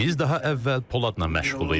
Biz daha əvvəl Poladla məşğuluq idi.